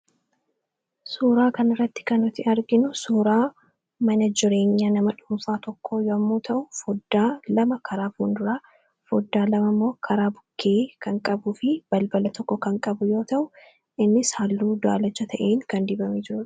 Suuraa kan irratti kan nuti arginu suuraa mana jireenya nama dhuumfaa tokko yommuu ta'u foddaa lama karaa fuunduraa foddaa lamamoo karaa bukkee kan qabu fi balbala tokko kan qabu yoo ta'u inni halluu daalacha ta'in kan dibame jiru.